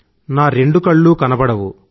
నా రెండు కళ్ళు కనబడవు